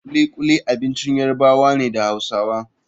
Kulikuli abincin Yarabawa ne da Hausawa.